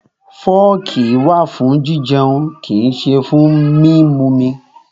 Fọ́ọ̀kì wà fún jijẹun, kò sí fún mímumi.